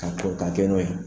Ka k'a kɛ n'o ye